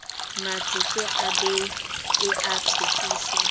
matsete a bee a thekiso